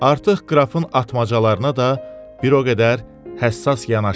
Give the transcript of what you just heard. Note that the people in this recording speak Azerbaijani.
Artıq qrafın atmacalarına da bir o qədər həssas yanaşmırdı.